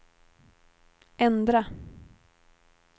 ändra